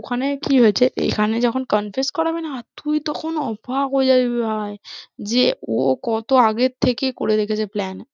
ওখানে কি হয়েছে এখানে যখন confess করাবে না তুই তখন অবাক হয়ে যাবি ভাই, যে ও কত আগের থেকে করে রেখেছে plan